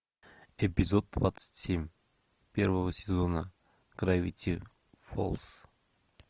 эпизод двадцать семь первого сезона гравити фолз